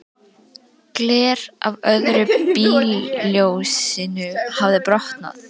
Gler af öðru bílljósinu hafði brotnað.